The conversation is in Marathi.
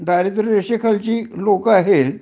दारिद्र्य रेशेखाली लोक आहेत